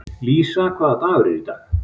Lísa, hvaða dagur er í dag?